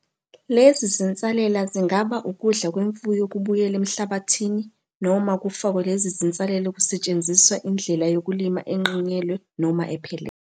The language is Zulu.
Lezi zinsalela zingaba ukudla kwemfuyo kubuyele emhlabathini noma kufakwe lezi zinsalela kusetshenziswa indlela yokulima enqinyelwe noma ephelele.